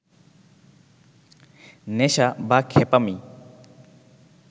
নেশা বা খ্যাপামি